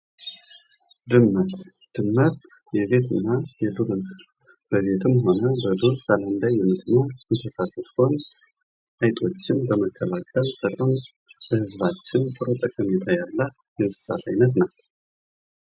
ድመት የቤትና የዱር እንስሳት ስትሆን በቤት ውስጥም ሆነ በዱር አይጦችን በማደን ላብረተሰቡ ትልቅ ጠቀሜታ ያላት የእንስሳት አይነት ናት።